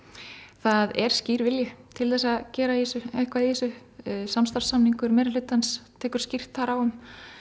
það er skýr vilji til þess að gera eitthvað í þessu samstarfssamningur meirihlutans tekur skýrt þar á um